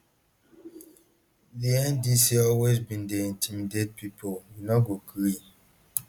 di ndc always bin dey intimidate pipo we no go gree